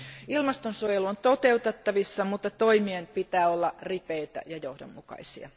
Ilmastonsuojelu on toteutettavissa, mutta toimien pitää olla ripeitä ja johdonmukaisia.